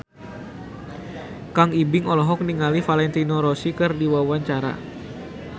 Kang Ibing olohok ningali Valentino Rossi keur diwawancara